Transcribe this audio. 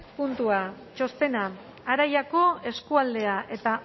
puntua txostena aiarako eskualdea eta